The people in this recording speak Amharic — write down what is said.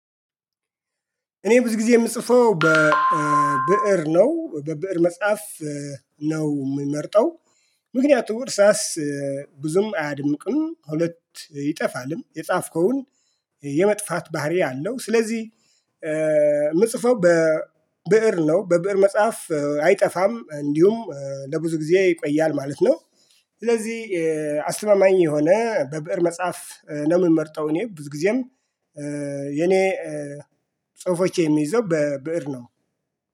እኔ ብዙ ጊዜ የምጽፈው በብእር ነው በብእር መጻፍ ነው የምመርጠው። ምክንያቱም እርሳስ ብዙም አያደምቅም ሁለት ይጠፋልም የጻፍከውን የመጥፋት ባህሪ አለው። ስለዚህ የምጽፈው በብእር ነው በብእር መጻፍ አይጠፋም እንዲሁም ለብዙ ጊዜ ይቆያል ማለት ነው። ስለዚህ አስተማማኝ የሆነ በብእር መጽሐፍ ነው የምመርጠው። እኔ ብዙ ጊዜም የኔ ጽሁፎች የሚይዘው በብእር ነው